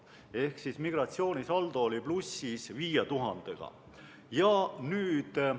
Ehk migratsioonisaldo oli 5000-ga plussis.